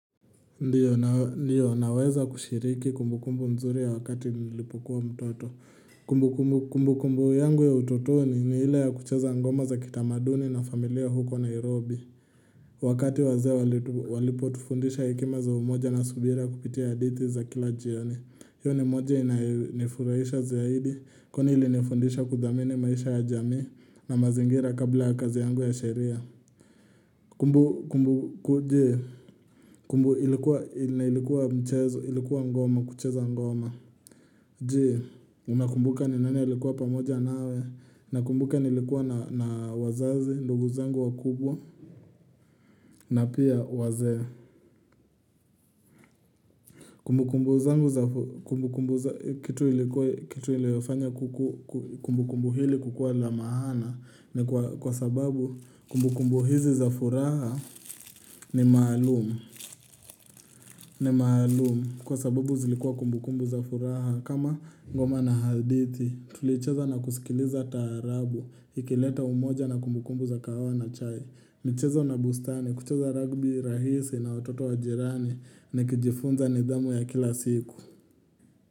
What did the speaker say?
Ndiyo, naweza kushiriki kumbukumbu mzuri ya wakati nilipokuwa mtoto. Kumbukumbu yangu ya utotoni, ni ile ya kucheza ngoma za kitamaduni na familia huko Nairobi. Wakati wazee walipotufundisha hekima za umoja na subira kupitia hadithi za kila jioni. Iyo ni moja inayo nifurahisha zaidi, kwani ilinifunza kudhamini maisha ya jamii na mazingira kabla ya kazi yangu ya sheria. Kumbu ilikuwa na ilikuwa mchezo, ilikuwa ngoma, kucheza ngoma. Je,? Unakumbuka ni nani alikuwa pamoja nawe? Nakumbuka niilikuwa na na wazazi, ndugu zangu wakubwa na pia wazee. Kumbukumbu zangu za kumbukumbu za kitu ilifanya kumbu kumbu hili kukua la maana, ni kwa sababu, kumbukumbu hizi za furaha ni maalum. Ni maalum; kwa sababu zilikua kumbukumbu za furaha kama ngoma na hadithi, tulicheza na kusikiliza taarabu ikileta umoja na kumbukumbu za kahawa na chai. Michezo na bustani, kucheza rugby rahisi na watoto wa jirani, nikijifunza nidhamu ya kila siku.